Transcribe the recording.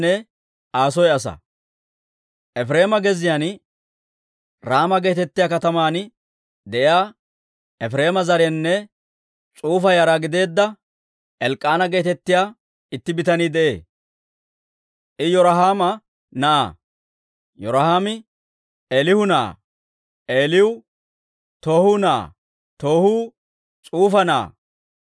Efireema gezziyaan, Raama geetettiyaa kataman de'iyaa, Efireema zarenne S'ufa yara gideedda, Elk'k'aana geetettiyaa itti bitanii de'ee; I Yirohaama na'aa; Yirohaami Eelihu na'aa; Eelihu Toohu na'aa; Toohu S'ufa na'aa.